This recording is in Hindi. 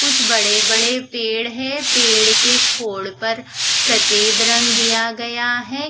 कुछ बड़े बड़े पेड़ है पेड़ के खोल पर सफेद रंग दिया गया है।